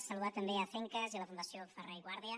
saludar també a acencas i a la fundació ferrer i guàrdia